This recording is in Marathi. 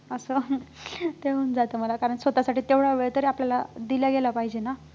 असं ते होऊन जातं मला कारण स्वतःसाठी तेवढा वेळ तरी आपल्याला दिला गेला पाहिजे ना